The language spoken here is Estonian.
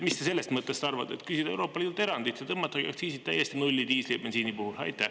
Mis te sellest mõttest arvate, et küsida Euroopa Liidult erandit ja tõmmatagi aktsiisid täiesti nulli diisli ja bensiini puhul?